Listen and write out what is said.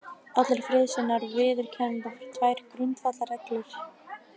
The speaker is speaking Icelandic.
Allir friðarsinnar viðurkenna tvær grundvallarreglur